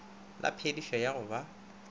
la phedišo ya go ba